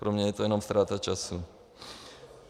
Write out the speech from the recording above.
Pro mě je to jenom ztráta času.